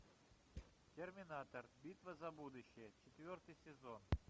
терминатор битва за будущее четвертый сезон